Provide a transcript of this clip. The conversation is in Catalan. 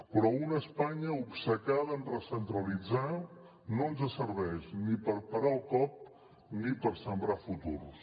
però una espanya obcecada en recentralitzar no ens serveix ni per parar el cop ni per sembrar futurs